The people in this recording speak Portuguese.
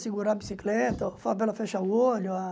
Segurar a bicicleta, falo para ela fechar o olho. Ah